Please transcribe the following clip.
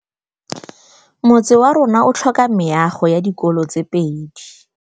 Motse warona o tlhoka meago ya dikolô tse pedi.